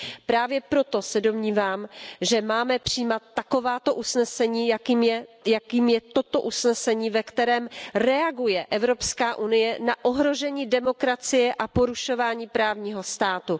Právě proto se domnívám, že máme přijímat takováto usnesení, jakým je toto usnesení, ve kterém reaguje Evropská unie na ohrožení demokracie a porušování právního státu.